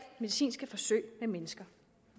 medicinske forsøg med mennesker